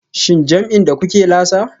Shin jam'in da kuke lasa?